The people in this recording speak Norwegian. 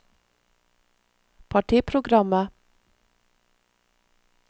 partiprogrammet